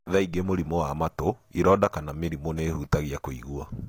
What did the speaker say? Thaingĩ mũrimũ wa matũ, ironda kana mĩrimũ nĩ ĩhũtagia kũigua.